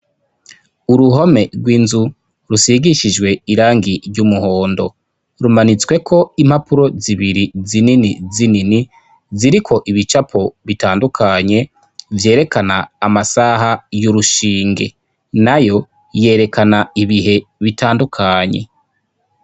Uruhome rw'inzu rusigishijwe irangi ry'umuhondo rumanitsweko impapuro zibiri zinini zinini ziriko ibicapo bitandukanye vyerekana amasaha y'urushinge nayo yerekana ibihe bitandukanye